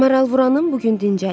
Maral vuranım bu gün dincəlir.